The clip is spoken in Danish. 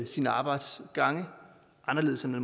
sine arbejdsgange anderledes end